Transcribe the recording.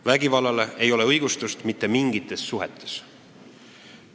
Vägivallale ei ole õigustust mitte mingites suhetes.